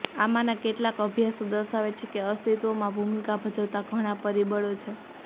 આમાંના કેટલાંક અભ્યાસો દર્શાવે છે કે અસ્તિત્વમાં ભૂમિકા ભજવતા ઘણા પરિબળો છે